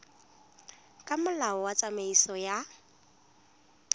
ka molao wa tsamaiso ya